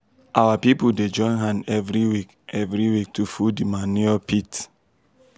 our people dey join hand every week every week to full di manure pit.